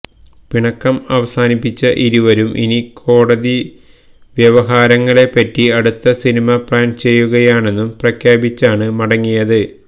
പിണക്കം അവസാനിപ്പിച്ച ഇരുവരും ഇനി കോടതിവ്യവഹാരങ്ങളെപ്പറ്റി അടുത്ത സിനിമ പ്ലാൻ ചെയ്യുകയാണെന്നും പ്രഖ്യാപിച്ചാണ് മടങ്ങിയത്